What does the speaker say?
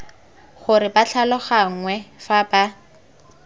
gore ba tlhaloganngwe fa ba